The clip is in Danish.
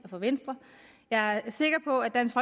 og fra venstre jeg er sikker på at dansk